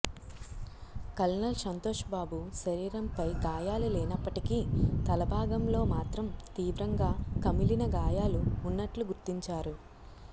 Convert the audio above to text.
colonel Santosh Babu శరీరంపై గాయాలు లేనప్పటికీ తల భాగంలో మాత్రం తీవ్రంగా కమిలిన గాయాలు ఉన్నట్లు గుర్తించారు